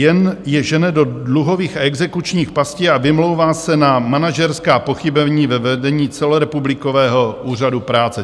Jen je žene do dluhových a exekučních pastí a vymlouvá se na manažerská pochybení ve vedení celorepublikového Úřadu práce.